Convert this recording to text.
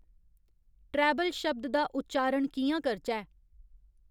treble शब्द दा उच्चारण कि'यां करचै